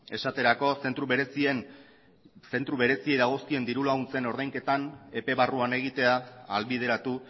esaterako zentro bereziei dagozkien dirulaguntzen ordainketan epe barruan egitea ahalbideratu